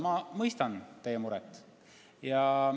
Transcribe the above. Ma mõistan teie muret.